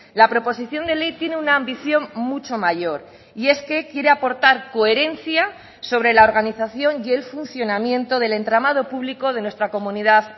la proposición de ley tiene una ambición mucho mayor y es que quiere aportar coherencia sobre la organización y el funcionamiento del entramado público de nuestra comunidad